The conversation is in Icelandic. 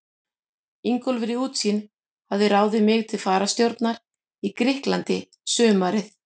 Ingólfur í Útsýn hafði ráðið mig til fararstjórnar í Grikklandi sumarið